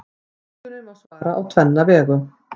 Spurningunni má svara á tvenna vegu.